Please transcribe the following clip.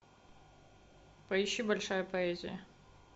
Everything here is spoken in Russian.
поищи большая поэзия